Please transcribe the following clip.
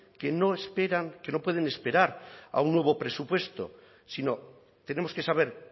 que no esperan que no pueden esperar a un nuevo presupuesto sino tenemos que saber